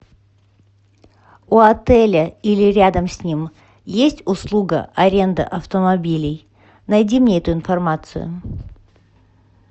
у отеля или рядом с ним есть услуга аренда автомобилей найди мне эту информацию